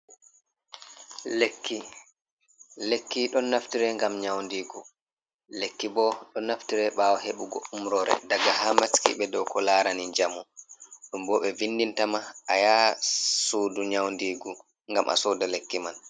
Lekki: Lekki ɗon naftire ngam nyaundigu, lekki bo ɗo naftire ɓawo heɓugo umrore daga haa maskiɓe dow ko larani njamu, ɗum bo ɓe vindintama a yah suudu nyaudigu ngam a soda lekki man.